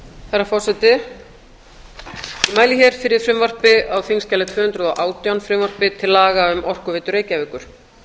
herra forseti ég mæli hér fyrir frumvarpi á þingskjali tvö hundruð og átján frumvarpi til laga um orkuveitu reykjavíkur